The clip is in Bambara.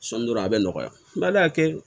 Sɔni dɔrɔn a bɛ nɔgɔya n b'a kɛ